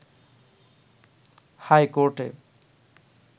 high কোর্টে